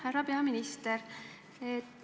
Härra peaminister!